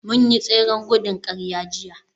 mun yi tseren gudun kar a jiya